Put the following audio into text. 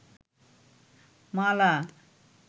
মালা